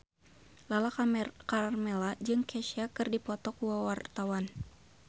Lala Karmela jeung Kesha keur dipoto ku wartawan